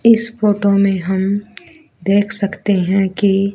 इस फोटो में हम देख सकते हैं कि--